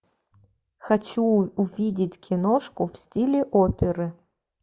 хочу увидеть киношку в стиле оперы